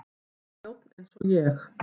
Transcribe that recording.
Hún er þjónn eins og ég.